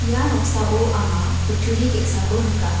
ia noksao anga kutturi ge·sako nika.